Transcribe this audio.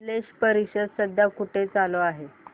स्लश परिषद सध्या कुठे चालू आहे